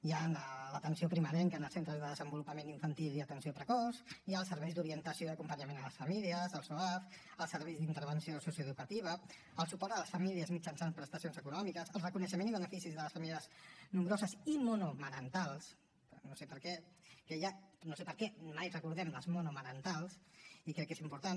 hi ha l’atenció primerenca en els centres de desenvolupament infantil i atenció precoç hi ha els serveis d’orientació i acompanyament a les famílies el soaf els serveis d’intervenció socioeducativa el suport a les famílies mitjançant prestacions econòmiques el reconeixement i beneficis de les famílies nombroses i monomarentals no sé per què mai recordem les monomarentals i crec que és important